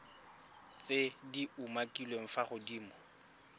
tse di umakiliweng fa godimo